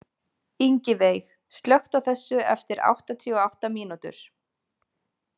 Ingiveig, slökktu á þessu eftir áttatíu og átta mínútur.